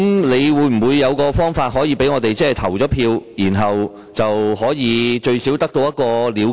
你會否有方法讓我們可以有機會投票，這樣最少有個了決？